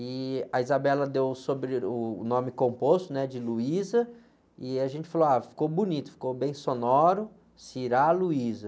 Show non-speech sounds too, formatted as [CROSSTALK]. E a [UNINTELLIGIBLE] deu sobre o sobre, uh, o nome composto, né? De, [UNINTELLIGIBLE] e a gente falou, ah, ficou bonito, ficou bem sonoro. [UNINTELLIGIBLE]